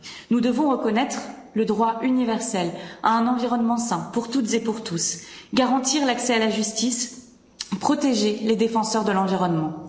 Nous devons reconnaître le droit universel à un environnement sain pour toutes et pour tous, garantir l'accès à la justice, protéger les défenseurs de l'environnement.